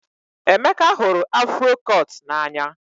Emeka hụrụ afro cut n'anya